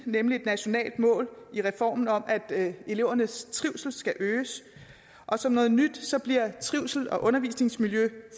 nemlig et nationalt mål i reformen om at elevernes trivsel skal øges og som noget nyt bliver trivsel og undervisningsmiljø